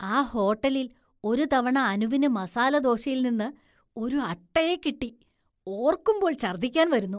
ആ ഹോട്ടലില്‍ ഒരു തവണ അനുവിന് മസാലദോശയില്‍ നിന്ന് ഒരു അട്ടയെ കിട്ടി, ഓര്‍ക്കുമ്പോള്‍ ഛര്‍ദ്ദിക്കാന്‍ വരുന്നു.